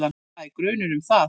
Það er grunur um það.